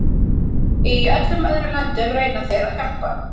Í öllum öðrum löndum reyna þeir að hjálpa.